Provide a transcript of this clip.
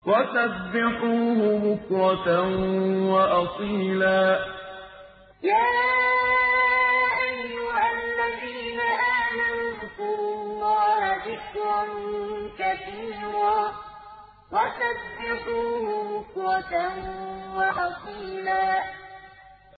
وَسَبِّحُوهُ بُكْرَةً وَأَصِيلًا وَسَبِّحُوهُ بُكْرَةً وَأَصِيلًا